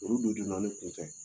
Olu de don donna ne kun fɛ.